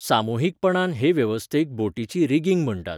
सामुहीकपणान हे वेवस्थेक बोटीची रिगिंग म्हण्टात.